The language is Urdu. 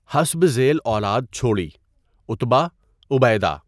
حسب ذیل اولاد چھوڑی، عُتبہ، عُبَیدہ